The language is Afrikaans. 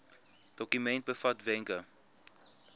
dokument bevat wenke